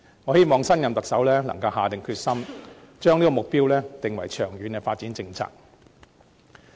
我希望新任特首能夠下定決心，將這個目標訂為長遠的發展政策。